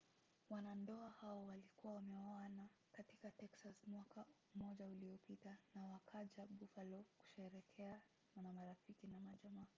wanandoa hao walikuwa wameoana katika texas mwaka mmoja uliopita na wakaja buffalo kusherehekea na marafiki na jamaa